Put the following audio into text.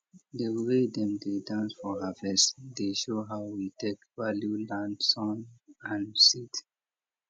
the way dem dey dance for harvest dey show how we take value land sun and seed